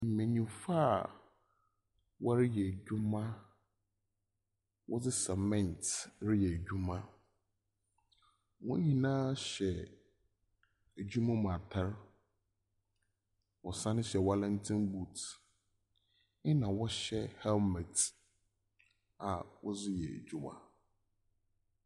Mbenyimfo a wɔreyɛ edwuma. Wɔdze cement reyɛ edwuma. Hɔn nyinaa hyɛ edwuma mu atar. Wɔsane hyɛ warranty boot, ɛnna wɔhyɛ helmet a wɔdze yɛ edwuma.